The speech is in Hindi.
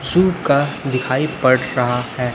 शिव का दिखाई पड़ रहा है।